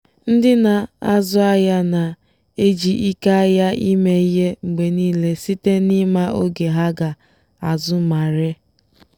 ndị na-azụ ahịa na-eji ike ahịa eme ihe mgbe niile site n'ịma oge ha ga-azụ ma ree.